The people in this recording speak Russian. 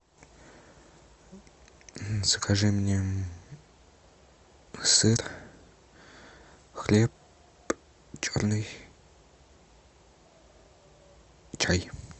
закажи мне сыр хлеб черный чай